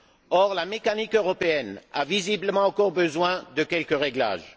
Or, la mécanique européenne a visiblement encore besoin de quelques réglages.